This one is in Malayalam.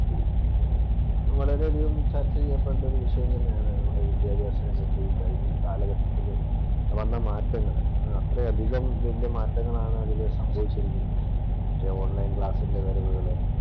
വളരെയധികം ചർച്ച ചെയ്യപ്പെടേണ്ട ഒരു വിഷയം തന്നെയാണ് നമ്മുടെ വിദ്യാഭ്യാസം. വിദ്യാഭ്യാസ രംഗത്ത് ഈ കഴിഞ്ഞ കാലഘട്ടത്തില് വന്ന മാറ്റങ്ങൾ അത്രയധികം വലിയ മാറ്റങ്ങളാണ് അതിൽ സംഭവിച്ചിരിക്കുന്നത്. മറ്റേ ഓണ്‍ലൈന്‍ ക്ലാസ്സിന്‍റെ വരവുകള്.